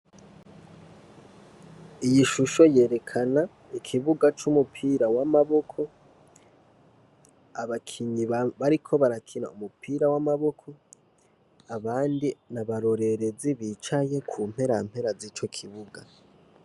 Iyishusho yerekana ikibuga c'umupira w'amaboko, abakinyi bariko barakina umupira w'amaboko abandi n'abarorerezi bicaye kumperampera zico kibuga.